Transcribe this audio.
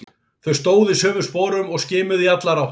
Þau stóðu í sömu sporum og skimuðu í allar áttir.